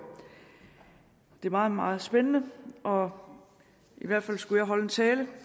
det er meget meget spændende og i hvert fald skulle jeg holde en tale